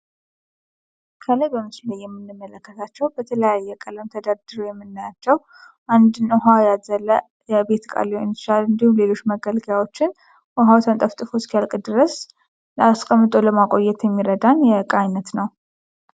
ከላይ በምስሉ ላይ የምንመለከታቸው በተለያየ ቀለም ተደርድረው የምናያቸው አንድን ውሃ ያዘለ የቤት ቃል ሊሆን ይችላል ።እንዲሁም ሌሎች መገልገያዎችን ውሃው ተንጠፍጥፎ እስኪያልቅ ድረስ አስቀምጦ ለማቆየት የሚረዳን የእቃ አይነት ነው።